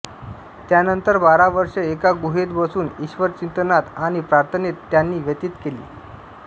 त्यानंतर बारा वर्षे एका गुहेत बसून ईश्वरचिंतनात आणि प्रार्थनेत त्यांनी व्यतीत केली